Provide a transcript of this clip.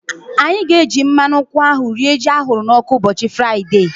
Anyị ga-eji mmadụ nkwụ ahu rie ji ahụrụ n'ọkụ ụbọchị Fraịdee